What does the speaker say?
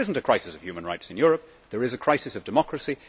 There is not a crisis of human rights in Europe, there is crisis of democracy